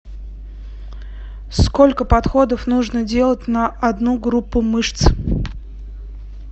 сколько подходов нужно делать на одну группу мышц